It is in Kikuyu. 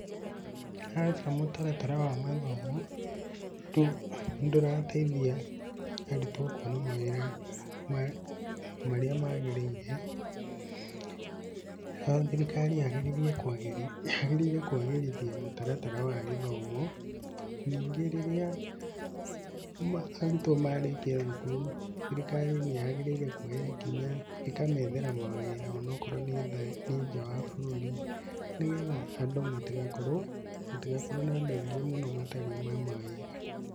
Aca mũtaratara wa mathomo ndũrateithia arutwo kuona mawĩra marĩa magĩrĩire, ho thirikari yagĩrĩire kwagĩrithia mũtaratara wa gĩthomo. Ningĩ rĩrĩa arutwo marĩkia thukuru, thirikari ni yagĩrĩire kuoya ikinya, ikamethera mawĩra ona okorwo nĩ nja wa bũrũri, nĩ getha andũ matigakorwo, gũtigakorwo kwĩna andũ aingĩ mũno matarĩ na mawĩra.